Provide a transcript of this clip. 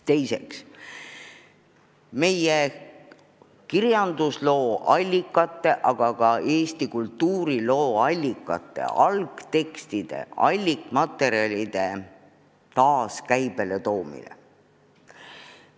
Teiseks, meie kirjandusloo allikate, aga ka laiemalt Eesti kultuuriloo allikate – algtekstide, algmaterjalide – taas käibele toomine.